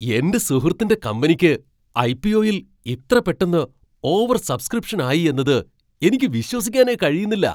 എൻ്റെ സുഹൃത്തിൻ്റെ കമ്പനിക്ക് ഐ.പി.ഒ.യിൽ ഇത്ര പെട്ടെന്ന് ഓവർസബ്സ്ക്രിപ്ഷൻ ആയി എന്നത് എനിക്ക് വിശ്വസിക്കാനേ കഴിയുന്നില്ല.